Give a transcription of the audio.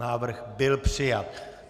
Návrh byl přijat.